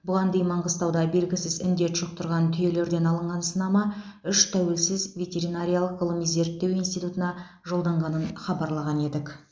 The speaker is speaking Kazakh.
бұған дейін маңғыстауда белгісіз індет жұқтырған түйелерден алынған сынама үш тәуелсіз ветеринариялық ғылыми зерттеу институтына жолданғанын хабарлаған едік